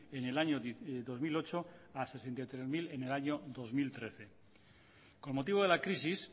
en el año dos mil ocho a sesenta y tres mil en el año dos mil trece con motivo de la crisis